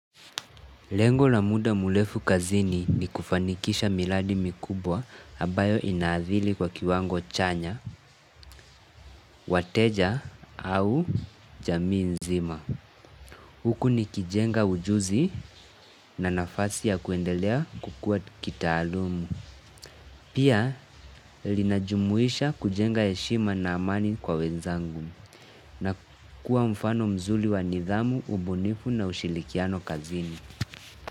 Lengo la muda murefu kazini ni kufanikisha miradi mikubwa ambayo inaadhiri kwa kiwango chanya, wateja au jamii nzima. Huku nikijenga ujuzi na nafasi ya kuendelea kukua kitaalamu. Pia linajumuisha kujenga heshima na amani kwa wenzangu na kuwa mfano mzuri wa nidhamu, ubunifu na ushirikiano kazini.